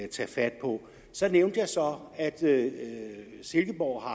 tage fat på så nævnte jeg så at silkeborg har